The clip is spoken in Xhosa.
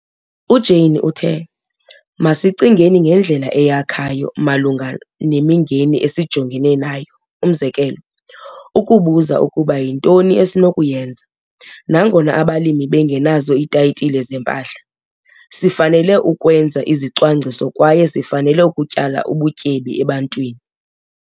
UJane uthe- 'Masicingeni ngendlela eyakhayo malunga nemingeni esijongene nayo umzekelo- Ukubuza ukuba yintoni esinokuyenza, nangona abalimi bengenazo iithayitile zempahla - sifanele ukwenza izicwangciso kwaye sifanele ukutyala ubutyebi EBANTWINI'.